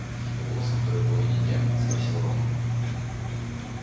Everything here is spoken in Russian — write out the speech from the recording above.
что у нас во второй половине дня спросил рон